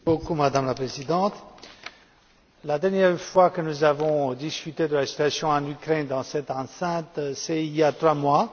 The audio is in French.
Madame la Présidente, la dernière fois que nous avons discuté de la situation en Ukraine dans cette enceinte, c'était il y a trois mois.